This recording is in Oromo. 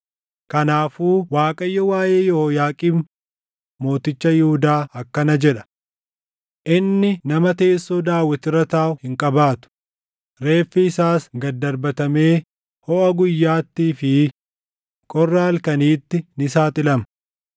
Kanaafuu Waaqayyo waaʼee Yehooyaaqiim mooticha Yihuudaa akkana jedha: Inni nama teessoo Daawit irra taaʼu hin qabaatu; reeffi isaas gad darbatamee hoʼa guyyaatii fi qorra halkaniitti ni saaxilama.